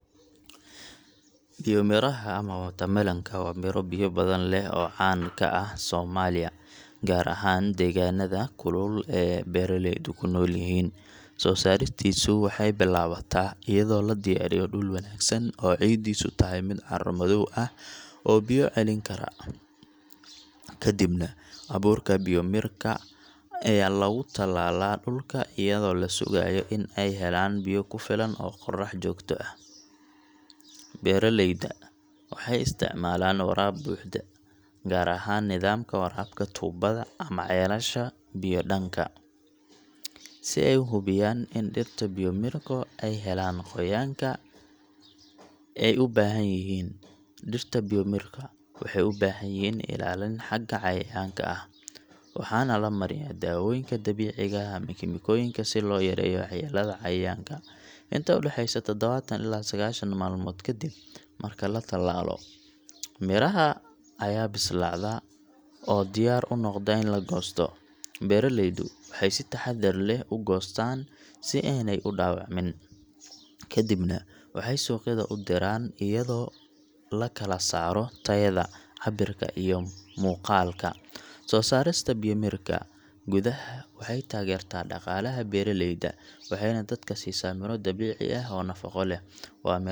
Biyomiraha ama watermelon ka waa miro biyo badan leh oo caan ka ah Soomaaliya, gaar ahaan deegaannada kulul ee beeraleydu ku nool yihiin. Soo saaristiisu waxay bilaabataa iyadoo la diyaariyo dhul wanaagsan oo ciiddiisu tahay mid carro madow ah oo biyo celin kara. Kadibna abuurka biyomirka ayaa lagu tallaalaa dhulka iyadoo la sugayo in ay helaan biyo ku filan iyo qorrax joogto ah. Beeraleyda waxay isticmaalaan waraab buuxda, gaar ahaan nidaamka waraabka tuubbada ama ceelasha biyo-dhaanka, si ay u hubiyaan in dhirta biyomirka ay helaan qoyaanka ay u baahan yihiin. Dhirta biyomirka waxay u baahan yihiin ilaalin xagga cayayaanka ah, waxaana la mariyaa daawooyinka dabiiciga ah ama kiimikooyinka si loo yareeyo waxyeellada cayayaanka. Inta u dhaxaysa tadawaatan ilaa sagashan maalmood kadib marka la tallaalo, miraha ayaa bislaada oo diyaar u noqda in la goosto. Beeraleydu waxay si taxaddar leh u goostaan si aanay u dhaawacmin, kadibna waxay suuqyada u diraan iyadoo la kala saaro tayada, cabbirka iyo muuqaalka. Soo saarista biyomirka gudaha waxay taageertaa dhaqaalaha beeraleyda waxayna dadka siisaa miro dabiici ah oo nafaqo leh. Waa miraha.